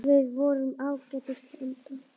Við vorum ágætis blanda.